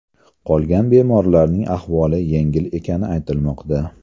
Qolgan bemorlarning ahvoli yengil ekani aytilmoqda.